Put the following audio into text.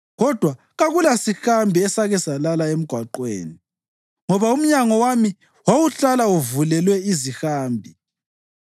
kodwa kakulasihambi esake salala emgwaqweni, ngoba umnyango wami wawuhlala uvulelwe izihambi